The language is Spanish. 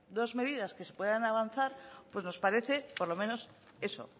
dos medidas que se puedan avanzar pues nos parece por lo menos eso